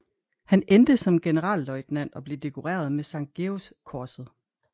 Han endte som generalløjtnant og blev dekoreret med Sankt Georgskorset